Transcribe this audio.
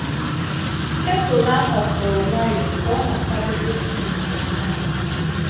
Ketụlụ ahụ fụrụ nwayọọ ka ọ na-akwadebe tii maka anyị abụọ.